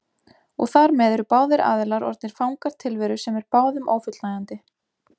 Og þar með eru báðir aðilar orðnir fangar tilveru sem er báðum ófullnægjandi.